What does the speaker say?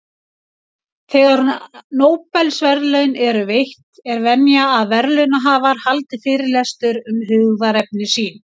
Þegar Nóbelsverðlaun eru veitt, er venja að verðlaunahafar haldi fyrirlestur um hugðarefni sín.